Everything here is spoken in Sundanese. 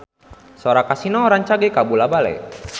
Sora Kasino rancage kabula-bale